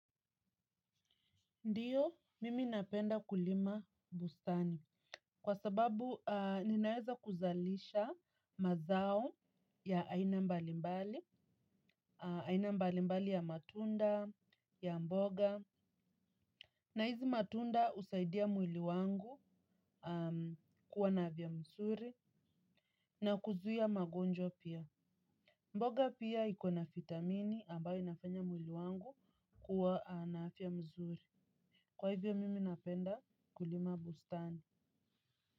Ndiyo, mimi napenda kulima bustani. Kwa sababu, ninaweza kuzalisha mazao ya aina mbalimbali, aina mbalimbali ya matunda, ya mboga. Na hizi matunda husaidia mwili wangu kuwa na afya mzuri na kuzuia magonjwa pia. Mboga pia iko na vitamini ambayo inafanya mwili wangu kuwa naafya nzuri. Kwa hivyo, mimi napenda kulima bustani.